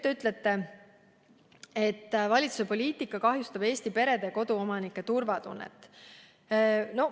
Te ütlete, et valitsuse poliitika kahjustab Eesti perede ja koduomanike turvatunnet.